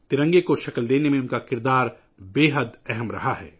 ترنگے کو شکل دینے میں ، ان کا کردار انتہائی اہم رہا ہے